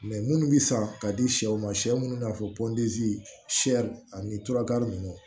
minnu bɛ san ka di sɛw ma sɛ minnu b'a fɔ pɔntisiyɛri ani tura ninnu